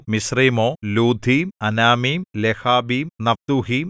മിസ്രയീമോ ലൂദീം അനാമീം ലെഹാബീം നഫ്തൂഹീം